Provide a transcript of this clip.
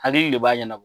Hakili de b'a ɲɛnabɔ